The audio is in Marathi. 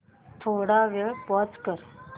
थोडा वेळ पॉझ कर